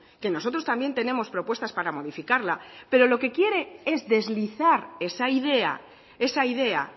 que nosotros también tenemos propuestas para modificarla pero lo que quiere es deslizar esa idea esa idea